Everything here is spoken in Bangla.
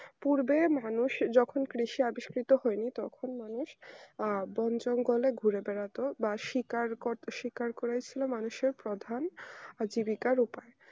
পূর্বের মানুষ যখন কৃষি আবিষ্কৃত হয়নি তখন মানুষ আহ বোন জঙ্গলে ঘুরে বেরোতো বা শিকার কর বা শিকার করেছিল মানুষের প্রধান জীবিকার উপায়ে